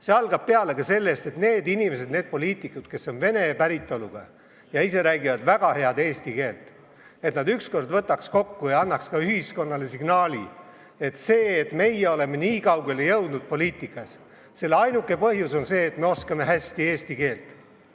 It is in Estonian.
See algab peale sellest, et need inimesed, poliitikud, kes on vene päritolu ja ise räägivad väga head eesti keelt, võtaks ükskord ennast kokku ja annaks ka ühiskonnale signaali: ainuke põhjus, et meie oleme poliitikas nii kaugele jõudnud, on see, et me oskame hästi eesti keelt.